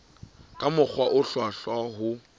ka mokgwa o hlwahlwa ho